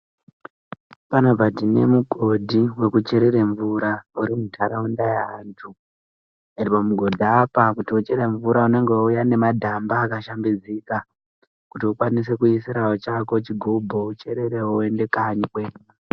Panapa tine mugodhi wekucherere mvura uri muntharaunda yeantu. Pamugodhi apa kuti ucherere mvura unenge weiuya nemadhamba akashambidzika, kuti ukwanise kuisirawo chako chigubhu ,kuti ucherere uende kanyi kwenyu.